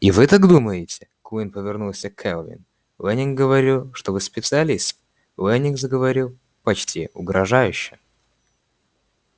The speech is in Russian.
и вы так думаете куинн повернулся к кэлвин лэннинг говорил что вы специалист лэннинг заговорил почти угрожающе